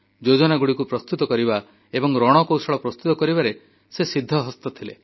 ଯୋଜନା ପ୍ରସ୍ତୁତ କରିବା ଏବଂ ରଣକୌଶଳ ପ୍ରସ୍ତୁତ କରିବାରେ ସେ ସିଦ୍ଧହସ୍ତ ଥିଲେ